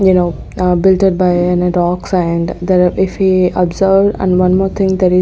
you know a builted by and dogs and there if we observed and one more thing that is --